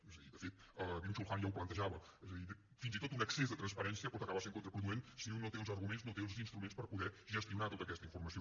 és a dir de fet byung chul han ja ho plantejava és a dir fins i tot un excés de transparència pot acabar sent contraproduent si un no té els arguments no té els instruments per poder gestionar tota aquesta informació